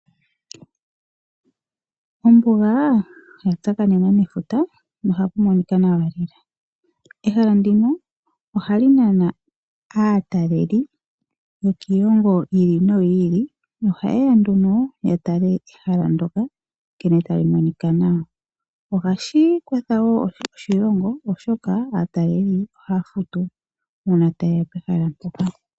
Ombuga oya tsakanena nefuta nohapu monika nawa lela. Ehala ndino ohali nana aataleli yokiilongo yili noyi ili nohayeya nduno ya tale ehala ndoka nkene tali monika nawa. Ohashi kwatha wo oshilongo oshoka aataleli oha futu una tayeya pehala mpoka.